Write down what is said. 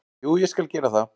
Jú, ég skal gera það.